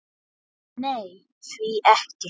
Nenni því ekki